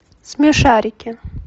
смешарики